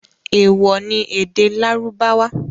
Ewọ ni èdè Lárúbáwá!